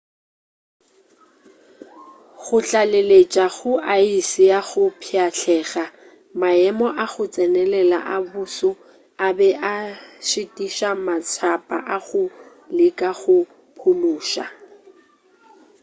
go tlaleletša go aese ya go pšhatlega maemo a go tsenelela a boso a be a šitiša matshapa a go leka go phološa